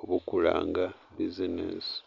oburikuranga bizineesi.